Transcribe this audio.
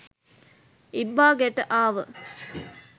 ඉබ්බා ගෙට ආව